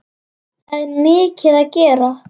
Það er mikið að gera.